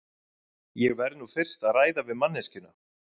Ég verð nú fyrst að ræða við manneskjuna.